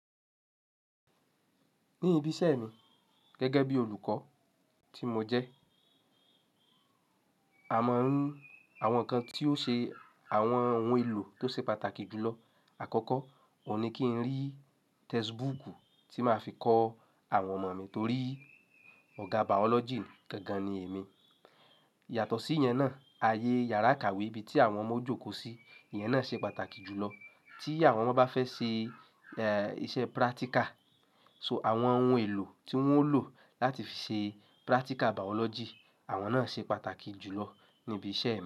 Ní ibi iṣẹ́ mi gẹ́gẹ́ bí olùkọ́ tí mo jẹ́, àwọn ǹkan tí ó ṣe àwọn ohun èlò tó ṣe pàtàkì jùlọ àkọ́kọ́, òun ní kí n rí textbook tí màá fi kọ́ àwọn ọmọ mi torí ọ̀gá biology gangan ni èmi. Yàtọ̀ sí ìyẹn náà, ayé yàrá ìkàwé ibi tí àwọn ọmọ o jókòó sí, ìyẹn náà ṣe pàtàkì jùlọ. Tí àwọn ọmọ bá fẹ́ ṣe iṣẹ́ practical, so àwọn ohun èlò tí wọ́n ó lò láti fi ṣe practical biology, àwọn náà ṣe pàtàkì jùlọ ní ibi iṣẹ́ mi.